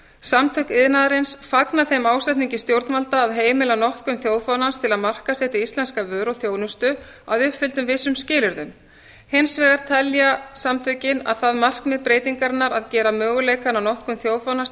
samtök iðnaðarins fagna þeim ásetningi stjórnvalda að heimila notkun þjóðfánans til að markaðssetja íslenska vöru og þjónustu að uppfylltum vissum skilyrðum hins vegar telja samtökin að það markmið breytingarinnar að gera möguleikann á notkun þjóðfánans